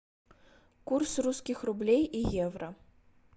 курс русских рублей и евро